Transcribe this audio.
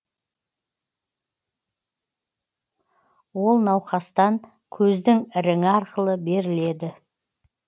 ол науқастан көздің іріңі арқылы беріледі